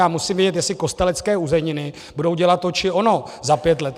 Já musím vědět, jestli Kostelecké uzeniny budou dělat to či ono za pět let.